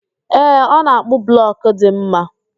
Ee, ọ na-akpụ blọkụ dị mma